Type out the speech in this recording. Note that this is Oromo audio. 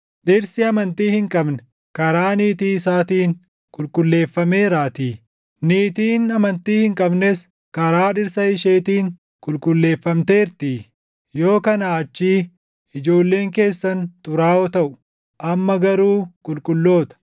Dhirsi amantii hin qabne karaa niitii isaatiin qulqulleeffameeraatii; niitiin amantii hin qabnes karaa dhirsa isheetiin qulqulleeffamteertii. Yoo kanaa achii ijoolleen keessan xuraaʼoo taʼu; amma garuu qulqulloota.